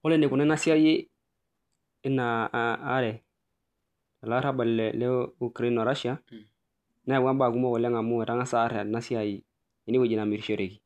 Kore enaikununo ena siai olarrabal le Ukraine oo Russia neyawua imbaa kumok amu etangasa aar ena siai ene wueji namirishoreki.